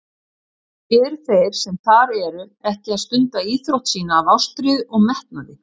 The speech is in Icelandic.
Eru þeir sem þar eru ekki að stunda íþrótt sína af ástríðu og metnaði?